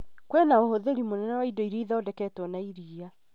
kwĩna ũhũthĩri mũnene wa indo irĩa ithondeketwo na iria